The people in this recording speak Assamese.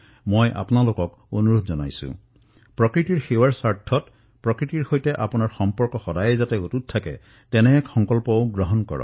মই আপোনালোকক অনুৰোধ কৰিছো যে পৰিবেশ দিৱসত যাতে বৃক্ষপুলি ৰোপণ কৰে